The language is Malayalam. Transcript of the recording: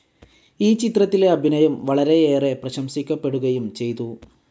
ഈ ചിത്രത്തിലെ അഭിനയം വളരെയേറെ പ്രശംസിക്കപ്പെടുകയും ചെയ്തു.